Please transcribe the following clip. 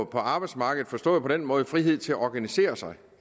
på arbejdsmarkedet forstået på den måde at frihed til at organisere sig